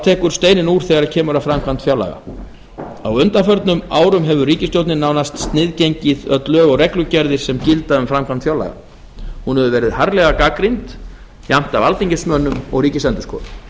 tekur steininn úr þegar kemur að framkvæmd fjárlaga á undanförnum árum hefur ríkisstjórnin nánast sniðgengið öll lög og reglugerðir sem gilda um framkvæmd fjárlaga hún hefur verið harðlega gagnrýnd jafnt af alþingismönnum og ríkisendurskoðun